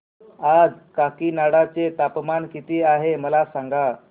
आज काकीनाडा चे तापमान किती आहे मला सांगा